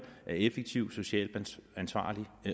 er effektiv er socialt ansvarlig